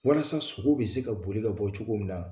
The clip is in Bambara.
Walasa sogow be se ka boli ka bɔ cogo min na